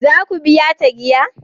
Za ku biya ta giya?